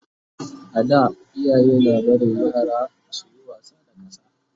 a da iyaye na barin yaransu suyi wasa da ƙasa